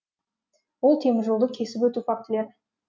ол теміржолды кесіп өту фактілері